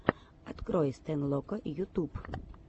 открой стэнлока ютуб